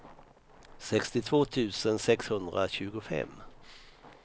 sextiotvå tusen sexhundratjugofem